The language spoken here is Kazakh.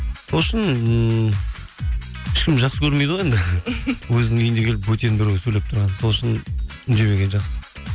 сол үшін ммм ешкім жақсы көрмейді ғой енді өзінің үйіне келіп бөтен біреу сөйлеп тұрғанын сол үшін үндемегені жақсы